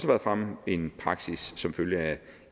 været fremme en praksis som følger af